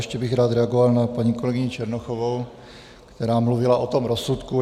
Ještě bych rád reagoval na paní kolegyni Černochovou, která mluvila o tom rozsudku.